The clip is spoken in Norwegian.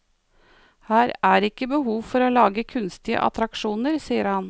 Her er ikke behov for å lage kunstige attraksjoner, sier han.